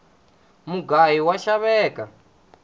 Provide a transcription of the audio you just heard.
mugayu wa xaveka